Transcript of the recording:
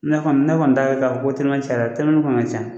Ne kɔni ne kɔni dala la ka fɔ ko telimani cayara , telimani kɔni ka ca .